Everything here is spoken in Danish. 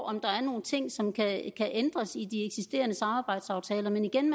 om der er nogle ting som kan ændres i de eksisterende samarbejdsaftaler men igen